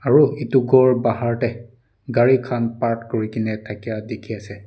ro etu ghor bahar de cari kan park kuri kina dakai diki ase.